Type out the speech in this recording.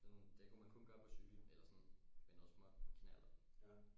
Sådan det kunne man kun gøre på cykel eller sådan med noget småt med knallert